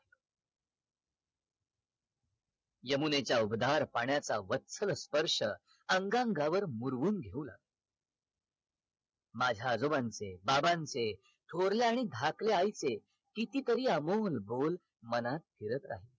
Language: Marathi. यमुनेच्या उबदार पाण्याचा वत्सल स्पर्श अंग अंगावर मुरून घेऊन माझ्या आजोबांचे बाबांचे थोरल्या आणि धाकल्या आईचे किती तरी अमोल बोल मला मनात राहिले